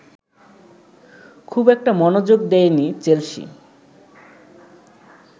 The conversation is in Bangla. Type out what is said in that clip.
খুব একটা মনোযোগ দেয়নি চেলসি